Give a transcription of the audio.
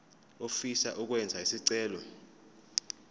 ofisa ukwenza isicelo